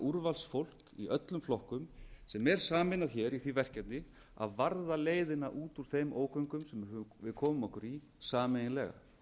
úrvalsfólk í öllum flokkum sem er sameinað hér í því verkefni að varða leiðina út úr þeim ógöngum sem við komum okkur í sameiginlega